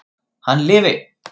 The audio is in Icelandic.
Hann lifi!